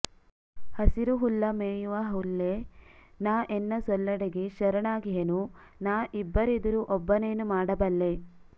ಹಸಿರು ಹುಲ್ಲ ಮೇಯುವ ಹುಲ್ಲೆ ನಾ ಎನ್ನ ಸೊಲ್ಲಡಗಿ ಶರಣಾಗಿಹೆನು ನಾ ಇಬ್ಬರಿದಿರು ಒಬ್ಬನೇನು ಮಾಡಬಲ್ಲೆ